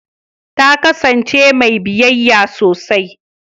Ta kasance mai biyayya sosai